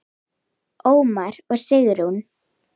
Ómar og Sigrún.